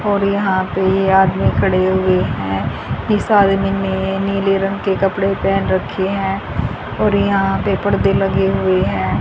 और यहां पे ये आदमी खड़े हुए हैं इस आदमी ने नीले रंग के कपड़े पहन रखे हैं और यहां पड़दे लगे हुए हैं।